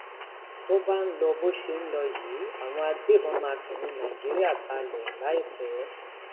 tó bá ń lọ bó ṣe ń lọ ń lọ yìí àwọn agbébọn máa fẹyìn nàìjíríà balẹ láìpẹ